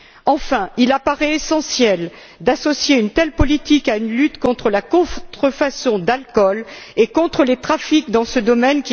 Enfin, il apparaît essentiel d'associer une telle politique à une lutte contre la contrefaçon d'alcool et contre les trafics dans ce domaine.